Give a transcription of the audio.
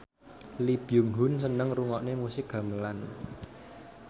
Lee Byung Hun seneng ngrungokne musik gamelan